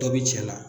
Dɔ bi cɛ la